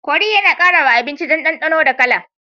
Kori yAna kara wa abinci dan danonda kala